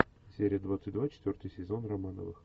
серия двадцать два четвертый сезон романовых